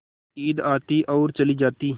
ईद आती और चली जाती